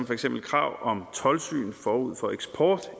for eksempel krav om toldsyn forud for eksport